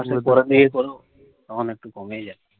মে মাসের পরে দিয়ে করো, তখন একটু কমেই যায়।